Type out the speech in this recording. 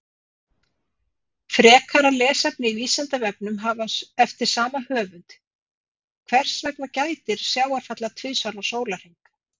Frekara lesefni á Vísindavefnum eftir sama höfund: Hvers vegna gætir sjávarfalla tvisvar á sólarhring?